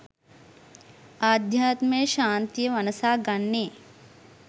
අධ්‍යාත්ම ශාන්තිය වනසා ගන්නේ